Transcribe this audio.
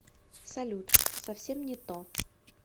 салют совсем не то